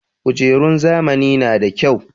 Kujerun zamani na da kyau.